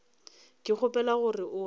ke gopola gore o a